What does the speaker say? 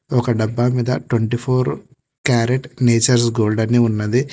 ఒక డబ్బా మీసం twenty four carat nature's gold అని ఉన్నది.